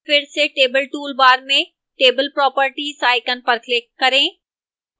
फिर से table toolbar में table properties icon पर click करें